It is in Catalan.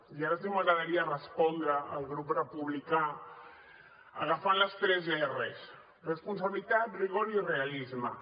i ara sí que m’agradaria respondre al grup republicà agafant les tres erres responsabilitat rigor i realisme